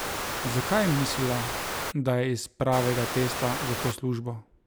Zakaj je mislila, da je iz pravega testa za to službo?